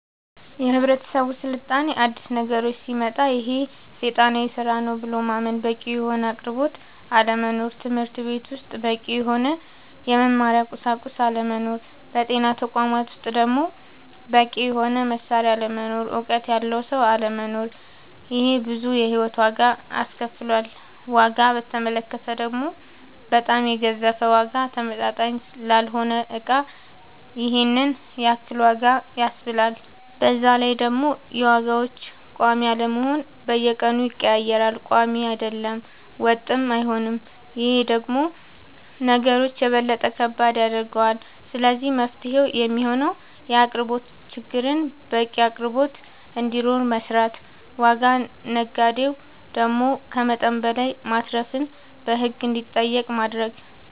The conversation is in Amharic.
የህብረተሰብ ስልጣኔ አዲስ ነገሮች ሲመጣ ይሄ ሴጣናዊ ስራ ነው ብሎ ማመን በቂ የሆነ አቅርቦት አለመኖር ትምህርትቤት ውስጥ በቂ የሆነ የመማሪያ ቁሳቁስ አለመኖር በጤና ተቋማት ውስጥ ደሞ በቂ የሆነ መሳሪያ አለመኖር እውቀት ያለው ሰው አለመኖር ይሄ ብዙ የሂወት ዋጋ አስከፍሎል ዋጋ በተመለከተ ደሞ በጣም የገዘፈ ዋጋ ተመጣጣኝ ላልሆነ እቃ ይሄንን ያክል ዋጋ ያስብላል በዛላይ ደሞ የዋጋዎች ቆሚ አለመሆን በየቀኑ ይቀያየራል ቆሚ አይደለም ወጥም አይሆንም ይሄ ደሞ ነገሮች የበለጠ ከባድ ያደርገዋል ስለዚህ መፍትሄው የሚሆነው የአቅርቦት ችግርን በቂ አቅርቦት እንዲኖር መስራት ዋጋ ነጋዴው ደሞ ከመጠን በላይ ማትረፍን በህግ እንዲጠየቅ ማረግ